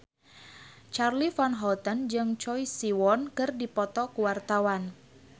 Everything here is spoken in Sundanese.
Charly Van Houten jeung Choi Siwon keur dipoto ku wartawan